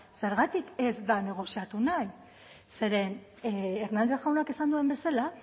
zergatik ez da negoziatu nahi zeren hernández jaunak esan duen bezala